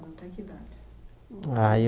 Aí eu